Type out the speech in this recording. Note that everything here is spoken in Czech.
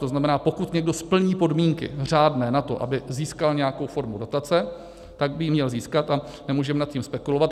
To znamená, pokud někdo splní podmínky řádné na to, aby získal nějakou formu dotace, tak by ji měl získat a nemůžeme nad tím spekulovat.